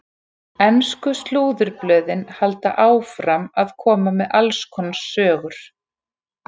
Ensku slúðurblöðin halda áfram að koma með alls konar sögur.